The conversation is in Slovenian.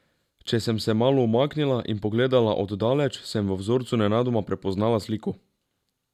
Če sem se malo umaknila in pogledala od daleč, sem v vzorcu nenadoma prepoznala sliko.